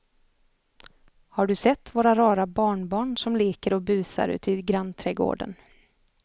Har du sett våra rara barnbarn som leker och busar ute i grannträdgården!